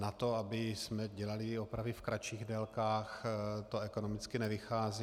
Na to, abychom dělali i opravy v kratších délkách, to ekonomicky nevychází.